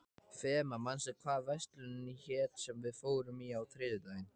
Fema, manstu hvað verslunin hét sem við fórum í á þriðjudaginn?